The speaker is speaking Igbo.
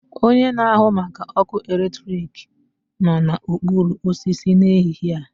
Onye na-ahụ maka ọkụ eletrik nọ na okporo osisi n'ehihie a